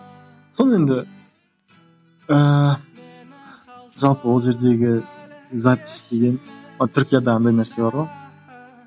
сол енді ыыы жалпы ол жердегі запись деген түркияда андай нәрсе бар ғой